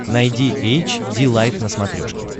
найди эйч ди лайф на смотрешке